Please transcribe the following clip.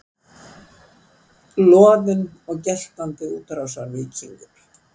Loðinn og geltandi útrásarvíkingur